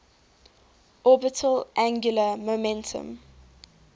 orbital angular momentum